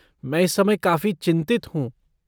मैं इस समय काफ़ी चिंतित हूँ।